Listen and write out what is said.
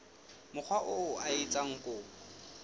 mokga oo a etsang kopo